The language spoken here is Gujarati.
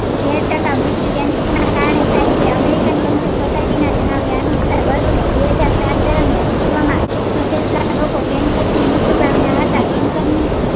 તેર ટાકા મૃત્યુ cancer ના કારણે થાય છે american cancer socity ના જણાવ્યા અનુસાર વર્ષ બેહજારસાત દરમિયાન વિશ્વ માં છોંતેર ટકા લોકો cancer થી મૃત્યુ પામ્યા હતા cancer ની